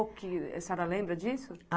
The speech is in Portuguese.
A senhora lembra disso?